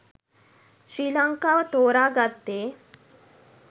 ශ්‍රී ලංකාව තෝරා ගත්තේ